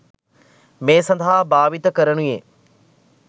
මේ සඳහා භාවිත කරනුයේ